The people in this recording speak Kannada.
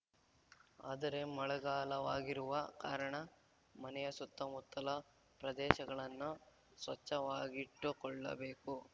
ಆದರೆ ಮಳೆಗಾಲವಾಗಿರುವ ಕಾರಣ ಮನೆಯ ಸುತ್ತಮುತ್ತಲ ಪ್ರದೇಶಗಳನ್ನು ಸ್ವಚ್ಛವಾಗಿಟ್ಟುಕೊಳ್ಳಬೇಕು